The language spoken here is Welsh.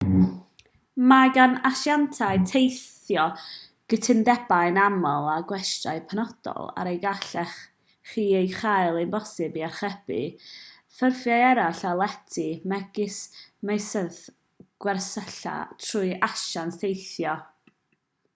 mae gan asiantiaid teithio gytundebau'n aml â gwestyau penodol er y gallech chi ei chael hi'n bosibl i archebu ffurfiau eraill o lety megis meysydd gwersylla trwy asiant teithio